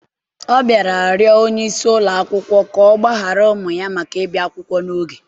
Ọ bịara rịọ onye isi ụlọ akwụkwọ ka ọ gbaghara ụmụ ya maka ịbịa akwụkwọ n'oge